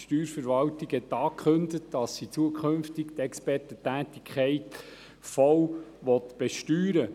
Die Steuerverwaltung hat angekündigt, dass sie zukünftig die Expertentätigkeit voll besteuern will.